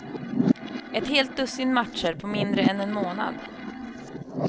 Ett helt dussin matcher på mindre än en månad.